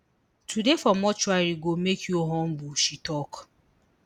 to dey for mortuary go make you humble she tok